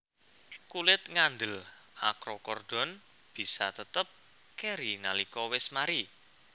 Kulit ngandel akrokordon bisa tetep keri nalika wis mari